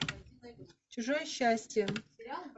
чужое счастье